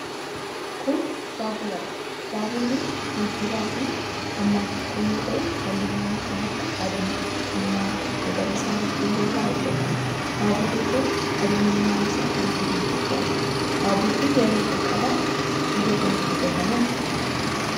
Kun, baabura dha. Baaburri geejibaa kun, hammaan xiqqoo yoo ta'u, haalluuwwan kan akka adii ,diimaa, magariisa fi keelloo irraa hojjatame. Baaburri kun, qabeenyummaan isaa kan biyya Itoophiyaati. Baaburri yeroo jalqabaaf biyya kamitti hojjatame?